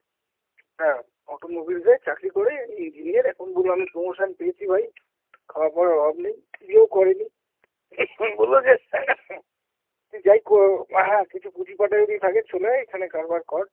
হ্যাঁ, auto mobiles এ চাকরি করে, engineer। এখন বললো আমি promotion পেয়েছি ভাই, খাওয়া-পরার অভাব নেই, বিয়েও করে নি। Coughing বললো যে Coughing তুই যাই কর আহ্যা কিছু পুঁজি-পাটা যদি থাকে চলে আয়, এখানে কারবার কর।